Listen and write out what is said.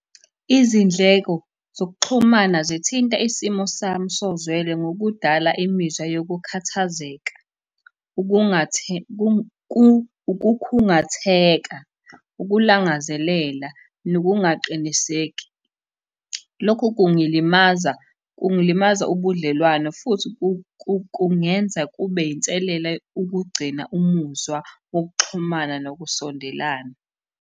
Izindleko zokuxhumana zithinta isimo sami sozwele ngokudala imizwa yokukhathazeka, ukukhungatheka, ukulangazelela, nokungaqiniseki. Lokhu kungilimaza, kungilimaza ubudlelwano futhi kungenza kube yinselela ukugcina umuzwa wokuxhumana nokusondelana.